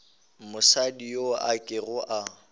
mosadi yo a kego a